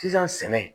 Sisan sɛnɛ